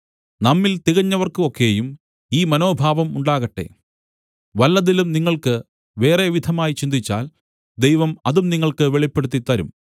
നമ്മിൽ തികഞ്ഞവർക്ക് ഒക്കെയും ഈ മനോഭാവം ഉണ്ടാകട്ടെ വല്ലതിലും നിങ്ങൾക്ക് വേറെ വിധമായി ചിന്തിച്ചാൽ ദൈവം അതും നിങ്ങൾക്ക് വെളിപ്പെടുത്തിത്തരും